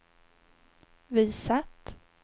visat